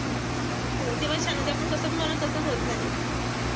हो तेव्हाच छान म्हणजे आपण कस पण बनवतो तस होत नाही.